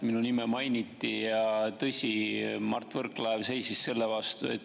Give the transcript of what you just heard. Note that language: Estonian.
Minu nime mainiti ja tõsi, Mart Võrklaev seisis selle vastu.